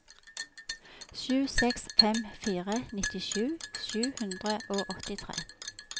sju seks fem fire nittisju sju hundre og åttitre